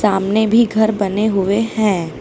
सामने भी घर बने हुए हैं।